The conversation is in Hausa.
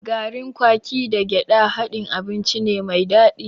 Garin kwaki da gyaɗa haɗin abinci ne mai daɗi.